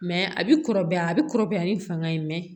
a bɛ kɔrɔbaya a bɛ kɔrɔbaya ni fanga ye